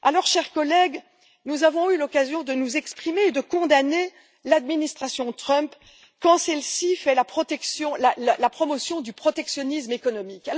Chers collègues, nous avons eu l'occasion de nous exprimer et de condamner l'administration Trump quand celle ci fait la promotion du protectionnisme économique.